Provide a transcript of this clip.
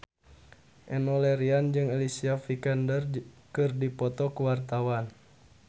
Enno Lerian jeung Alicia Vikander keur dipoto ku wartawan